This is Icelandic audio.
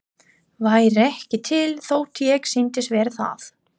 Væri ekki til þótt ég sýndist vera það.